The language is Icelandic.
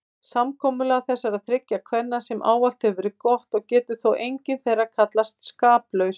Samkomulag þessara þriggja kvenna hefur ávallt verið gott og getur þó engin þeirra kallast skaplaus.